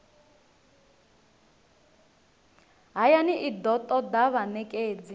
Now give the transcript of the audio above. hayani i do toda vhanekedzi